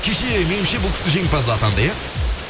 кеше меніңше бұл кісі жеңімпаз атанды иә